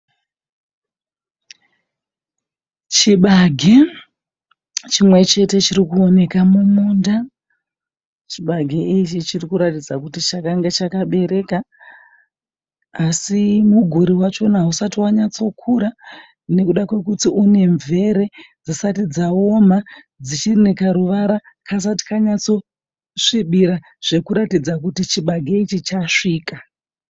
Chibage chimwe chete chirikuoneka mumunda, chibage ichi chirikuratidza kuti chakange chakabereka, asi muguri wachona hausati wanyatsokura nekuda kwekuti unemvere dzisati dzaoma dzichiri nekuruvara kasati kanyatsosvibira zvekuratidza kuti chibage ichi chasvika.